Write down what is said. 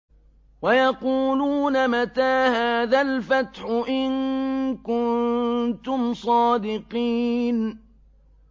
وَيَقُولُونَ مَتَىٰ هَٰذَا الْفَتْحُ إِن كُنتُمْ صَادِقِينَ